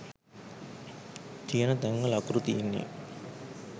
තියන තැන්වල අකුරු තියෙන්නෙ